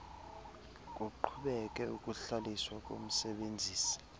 kuqhubeke ukuhlaliswa komsebenzisi